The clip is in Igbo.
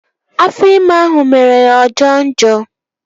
Afọ ime ahụ mere ya ọ jọo njọ